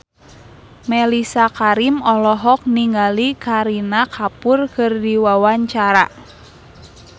Mellisa Karim olohok ningali Kareena Kapoor keur diwawancara